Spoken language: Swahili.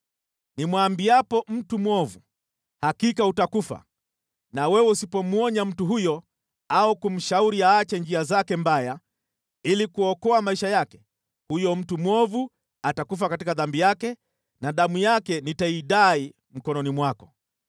Nimwambiapo mtu mwovu, ‘Hakika utakufa,’ na wewe usipomwonya mtu huyo au kumshauri aache njia zake mbaya ili kuokoa maisha yake, huyo mtu mwovu atakufa katika dhambi yake na damu yake nitaidai mkononi mwako.